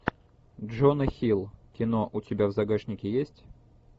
джона хилл кино у тебя в загашнике есть